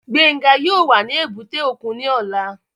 Gbénga yóò wà ní èbúté òkun ní ọ̀la